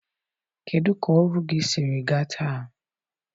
Kedụ ka ọrụ sịrị gaa taa?